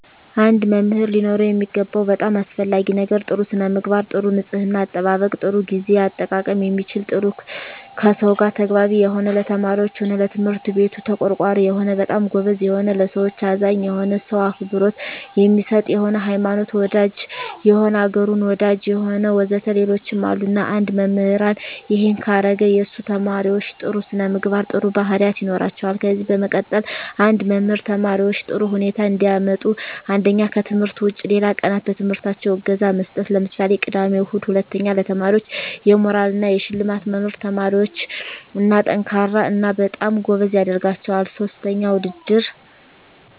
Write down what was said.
አንድ መምህር ሊኖረው የሚገባው በጣም አሰፈላጊ ነገር ጥሩ ስነምግባር ጥሩ ንጽሕና አጠባበቅ ጥሩ ግዜ አጠቃቀም የሚችል ጥሩ ከሰው ጋር ተግባቢ የሆነ ለተማሪዎች ሆነ ለትምህርት ቤቱ ተቆርቋሪ የሆነ በጣም ጎበዝ የሆነ ለሠዎች አዛኝ የሆነ ሰው አክብሮት የሚሰጥ የሆነ ሀይማኖት ወዳጅ የሆነ አገሩን ወዳጅ የሆነ ወዘተ ሌሎችም አሉ እና አንድ መምህራን እሄን ካረገ የሱ ተመራማሪዎች ጥሩ ስነምግባር ጥሩ ባህሪያት ይኖራቸዋል ከዚ በመቀጠል አንድ መምህር ተማሪዎች ጥሩ ውጤት እንዲያመጡ አንደኛ ከትምህርት ውጭ ሌላ ቀናት በትምህርታቸው እገዛ መስጠት ለምሳሌ ቅዳሜ እሁድ ሁለተኛ ለተማሪዎች የሞራል እና የሽልማት መኖር ተማሪዎች &ጠንካራ እና በጣም ጎበዝ ያደረጋቸዋል ሥስተኛ ውድድር